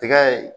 Tigɛ ye